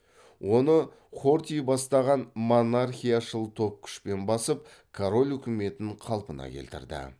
оны хорти бастаған монархияшыл топ күшпен басып король үкіметін қалпына келтірді